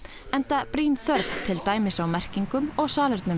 enda brýn þörf til dæmis á merkingum og salernum